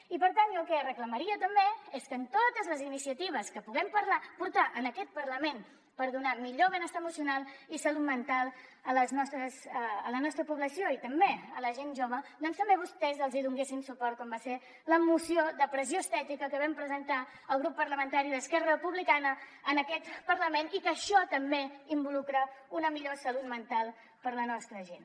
i per tant jo el que reclamaria també és que en totes les iniciatives que puguem portar en aquest parlament per donar millor benestar emocional i salut mental a la nostra població i també a la gent jove doncs també vostès els hi donessin suport com va ser la moció de pressió estètica que vam presentar el grup parlamentari d’esquerra republicana en aquest parlament que això també involucra una millor salut mental per a la nostra gent